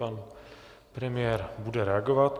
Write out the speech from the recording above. Pan premiér bude reagovat.